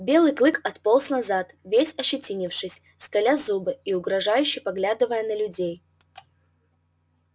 белый клык отполз назад весь ощетинившись скаля зубы и угрожающе поглядывая на людей